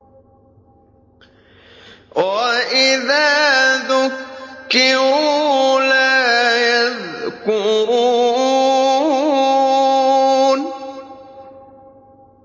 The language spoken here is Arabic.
وَإِذَا ذُكِّرُوا لَا يَذْكُرُونَ